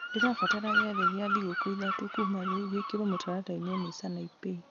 ndĩrabatara gĩathĩ gĩa thikũ ithatũ kuma rĩu gĩkĩrwo mũtaratara-inĩ nĩ sanaipei